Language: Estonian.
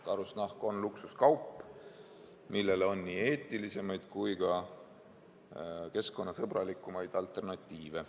Karusnahk on luksuskaup, millele on nii eetilisemaid kui ka keskkonnasõbralikumaid alternatiive.